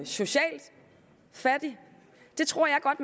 socialt fattig det tror jeg godt